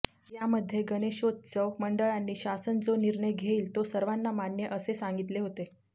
यामध्ये गणेशोत्सव मंडळानी शासन जो निर्णय घेईल तो सर्वांना मान्य असे सांगितले होते